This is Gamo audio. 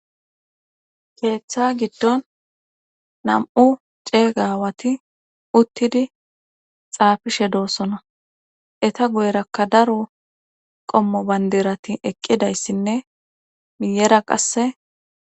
Keeththa giddon nam7u ceega aawati uttidi xaafishe doossona eta goyrakka daro qommo bandirati eqqidayssinne miyera qasse..